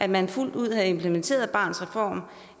man fuldt ud havde implementeret barnets reform